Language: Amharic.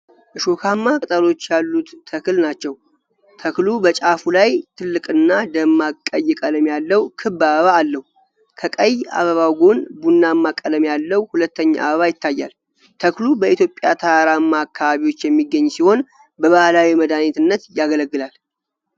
ሾካማ ቅጠሎች ያሉት ተክል ናቸው ። ተክሉ በጫፍ ላይ ትልቅና ደማቅ ቀይ ቀለም ያለው ክብ አበባ አለው። ከቀይ አበባው ጎን ቡናማ ቀለም ያለው ሁለተኛ አበባ ይታያል። ተክሉ በኢትዮጵያ ተራራማ አካባቢዎች የሚገኝ ሲሆን በባህላዊ መድኃኒትነት ያገለግላል።